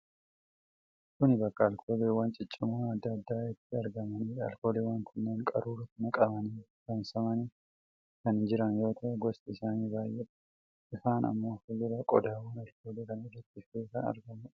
Kun bakka alkooliwwan ciccimoon adda addaa itti argamaniidha. Alkooliiwwan kunneen qaruuraatti namqanii saamsamanii kan jiran yoo ta'u, gosti isaanii baay'eedha. Ifaan ammoo fulduraan qodaawwan alkoolii kana irratti ifee kan argamuudha.